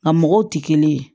Nka mɔgɔw tɛ kelen ye